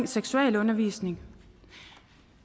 seksualundervisning